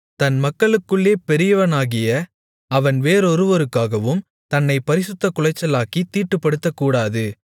தன் மக்களுக்குள்ளே பெரியவனாகிய அவன் வேறொருவருக்காகவும் தன்னைப் பரிசுத்தக்குலைச்சலாக்கித் தீட்டுப்படுத்தக்கூடாது